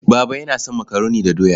Baba yana son makaroni da doya.